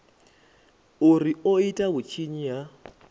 uri o ita vhutshinyi ha